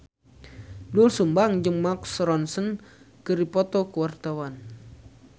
Doel Sumbang jeung Mark Ronson keur dipoto ku wartawan